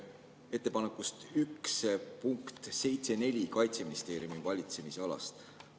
Ettepanek 1, punkt 7.4 Kaitseministeeriumi valitsemisala kohta.